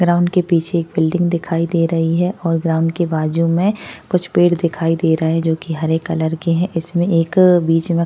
ground के पीछे एक बिल्डिंग दिखाई दे रही है और ग्राउंड के बाजु में कुछ पेड़ दिखाई दे रहे है जो की हरे कलर के है इसमें एक बीच में --